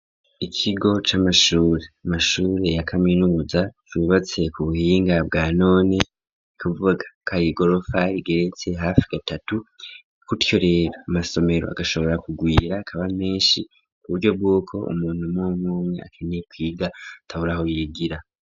Ikigo c'amashure, mashure ya kaminuza cubatse ku buhinga bwa none ikuvuga k ayigorofa igeretse hafi gatatu kutyo rera amasomero agashobora kugwira kaba menshi kuburyo bwuko umuntu mmwumwe akeneye kwiga ataburaho yigira.